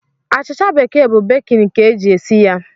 Achịcha bekee bụ bekin ka e ji esi ya.